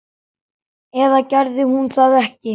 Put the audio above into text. Eða gerði hún það ekki?